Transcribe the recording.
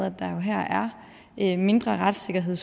at der her er er mindre retssikkerhed